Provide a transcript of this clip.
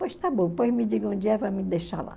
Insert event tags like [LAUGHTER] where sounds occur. Pois está bom, depois me digam onde é [UNINTELLIGIBLE] me deixar lá.